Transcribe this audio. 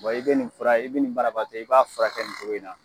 Bɔn e be nin fura e be nin barabatɔ e b'a furakɛ kɛ nin togo in na